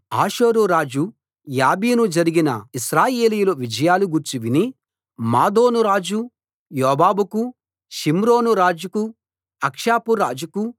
హాసోరు రాజు యాబీను జరిగిన ఇశ్రాయేలీయులు విజయాలు గూర్చి విని మాదోను రాజు యోబాబుకూ షిమ్రోను రాజుకూ అక్షాపు రాజుకూ